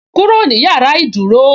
"Kúrò ní yàrá ìdúró"